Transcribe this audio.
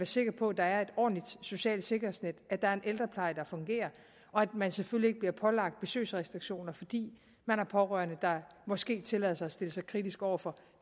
sikker på at der er et ordentligt socialt sikkerhedsnet at der er en ældrepleje der fungerer og at man selvfølgelig ikke bliver pålagt besøgsrestriktioner fordi man har pårørende der måske tillader sig at stille sig kritiske over for